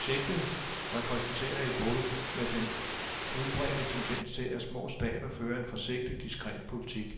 Projektet repræsenterer et brud med den udbredte tendens til, at små stater fører en forsigtig, diskret politik.